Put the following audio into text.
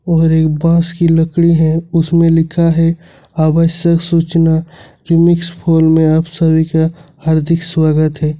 और एक बास की लकड़ी है उसमें लिखा है आवश्यक सूचना रीमिक्स फॉल में आप सभी का हार्दिक स्वागत है।